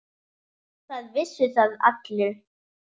Það vissu það allir.